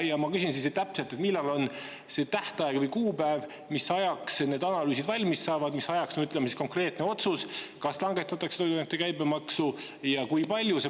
Ja ma küsin, millal täpselt on see tähtaeg või kuupäev, mis ajaks need analüüsid valmis saavad, mis ajaks konkreetne otsus, kas langetatakse toiduainete käibemaksu ja kui palju.